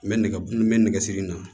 N bɛ nɛgɛ n bɛ nɛgɛsiri na